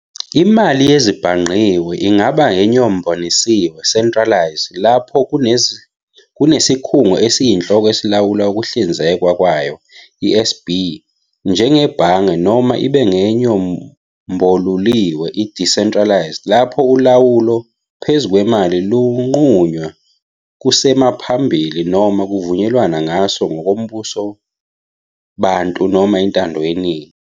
Imali yezezibhangqiwe ingaba enyombonisiwe "centralised", lapho kunesikhundla esiyinhloko esilawula ukuhlinzekwa kwayo, isb. njengebhange, noma ibe ngenyomboluliwe "decentralised", lapho ulawulo phezu kwemali lunqunywa kusengaphambili noma kuvunyelwana ngaso ngokombusowabantu noma intando yeningi.